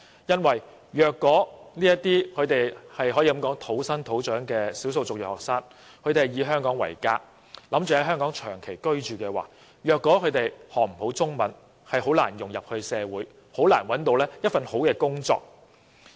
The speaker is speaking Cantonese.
因為這些可謂土生土長的少數族裔學生，他們打算以香港為家，並長期居住，如果他們不能學好中文，便難以融入社會，亦難以找到一份好工作。